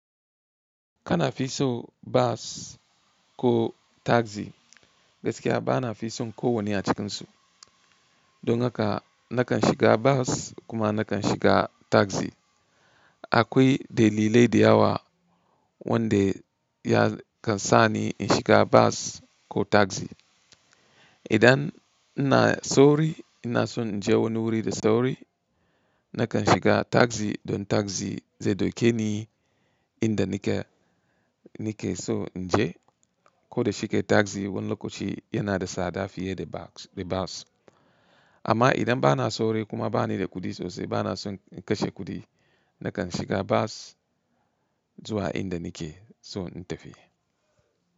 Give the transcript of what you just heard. Kana fi so bas ko taxi gaskiya bana fi son ko wanne a cikinsu. Don haka nakan shiga bas kuma nakan shiga taxi. Akwai dalilai da yawa wanda ya kan sani in shiga bas ko taxi. Idan ina sauri ina son in je wani wuri da sauri nakan shiga taxi don taxi zai dauke ni inda nake, nake so in je. Ko da shike taxi wani lokaci yana da tsada fiye da bas. Amma idan bana sauri kuma bani da kuɗi sosai bana son in kashe kuɗi nakan shiga bas zuwa inda nake so in tafi.